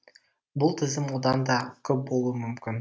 бұл тізім одан да көп болуы мүмкін